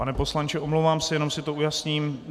Pane poslanče, omlouvám se, jenom si to ujasním.